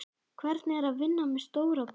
Hvernig er að vinna með stóra bróður?